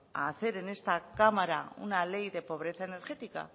a hacer en esta cámara una ley de pobreza energética